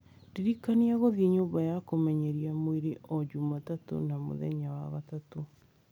ndirikania gũthiĩ nyũmba ya kũmenyeria mwĩrĩ o jumatatũ na mũthenya wa gatatũ